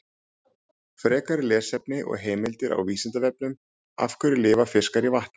Frekara lesefni og heimildir á Vísindavefnum: Af hverju lifa fiskar í vatni?